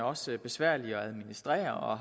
også besværlig at administrere og